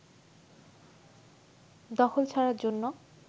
দখল ছাড়ার জন্য